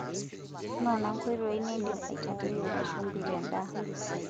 Noona nkoitoi nindim aitadoyiorie shumbi tendaa.